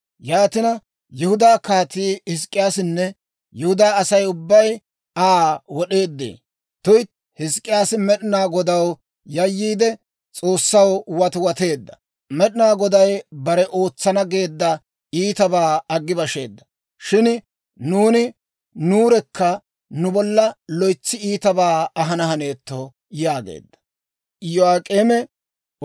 Yaatina, Yihudaa Kaatii Hizk'k'iyaasinne Yihudaa Asay ubbay Aa wod'eeddee? Tuytti, Hizk'k'iyaasi Med'inaa Godaw yayyiide, S'oossaw watiwateedda. Med'inaa Goday bare ootsana geedda iitabaa aggi basheedda. Shin nuuni nuurekka nu bolla loytsi iitabaa ahana haneetto» yaageedda.